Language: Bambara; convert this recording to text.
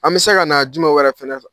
An bɛ se ka na jumɛn wɛrɛ fɛnɛ sɔrɔ.